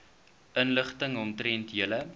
inligting omtrent julle